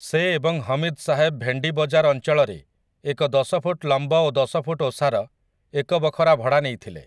ସେ ଏବଂ ହମିଦ୍ ସାହେବ ଭେଣ୍ଡି ବଜାର ଅଞ୍ଚଳରେ ଏକ ଦଶ ଫୁଟ୍ ଲମ୍ବ ଓ ଦଶ ଫୁଟ୍ ଓସାର ଏକ ବଖରା ଭଡ଼ା ନେଇଥିଲେ ।